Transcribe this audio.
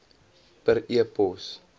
per e pos